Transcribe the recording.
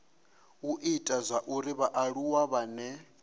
u ita zwauri vhaaluwa vhane